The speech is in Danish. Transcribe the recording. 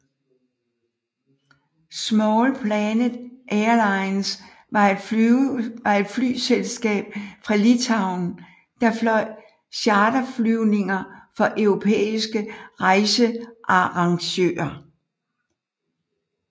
Small Planet Airlines var et flyselskab fra Litauen der fløj charterflyvninger for europæiske rejsearrangører